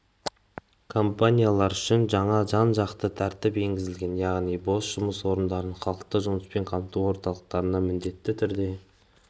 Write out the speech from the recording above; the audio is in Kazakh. компаниялар үшін жаңа жан-жақты тәртіп енгізілген яғни бос жұмыс орындарын халықты жұмыспен қамту орталықтарына міндетті түрде